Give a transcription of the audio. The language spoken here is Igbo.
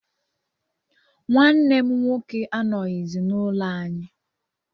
Nwanne m nwoke anọghịzi n'ụlọ anyị